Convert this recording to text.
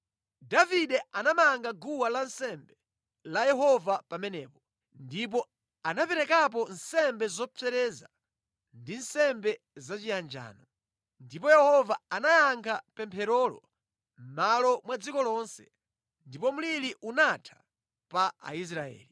Davide anamanga guwa lansembe la Yehova pamenepo ndipo anaperekapo nsembe zopsereza ndi nsembe zachiyanjano. Ndipo Yehova anayankha pempherolo mʼmalo mwa dziko lonse, ndipo mliri unatha pa Aisraeli.